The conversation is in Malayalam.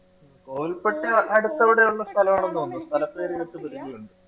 കോവിൽ പെട്ടി അങ്ങ് അടുത്തെവിടെയോ ഉള്ള സ്ഥലം ആണെന്ന് തോന്നുന്നു സ്ഥലപ്പേര് നമുക്ക് പരിചയമുണ്ട്.